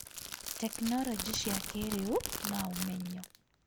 tekinoronjĩ cia kĩrĩu, na ũmenyo